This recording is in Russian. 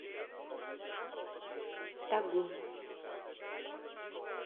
тагум